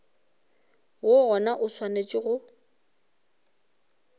woo gona o swanetše go